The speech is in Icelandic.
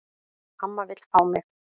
Amma vill fá mig.